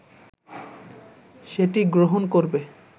সেটি গ্রহণ করবে